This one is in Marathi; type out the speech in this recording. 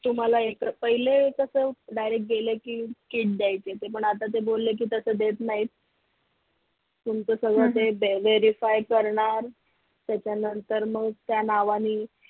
तुम्हाला एक पहिले कस direct गेले कि किट द्यायचे पण आता ते बोलले कि तस देत नाहीत तुमचं सगळं ते verify करणार त्याच्यानंतर मग त्या नावानी